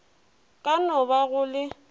ka no ba go le